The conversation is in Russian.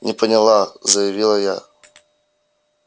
не поняла заявила я